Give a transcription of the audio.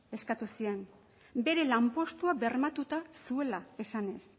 eskatu zien bere lanpostua bermatuta zuela esanez